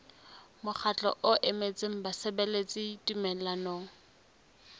mokgatlo o emetseng basebeletsi tumellanong